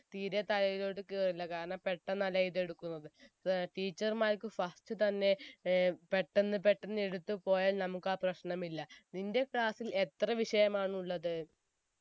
തീരെ തലയിലോട്ട് കേറില്ല കാരണം പെട്ടെന്നല്ലേ ഇതെടുക്കുന്നത് അത് teacher മാർക്ക് first തന്നെ ഏർ പെട്ടെന്ന് പെട്ടെന്ന് എടുത്ത് പോയാൽ നമുക്ക് ആയ പ്രശ്നം ഇല്ല നിന്റെ class ൽ എത്ര വിഷയമാണുള്ളത്